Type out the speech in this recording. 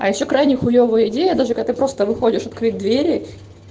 а ещё крайне хуевая идея даже когда ты просто выходишь открыв двери